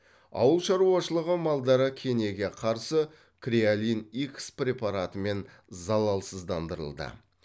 ауылшаруашылығы малдары кенеге қарсы креолин икс препаратымен залалсыздандырылды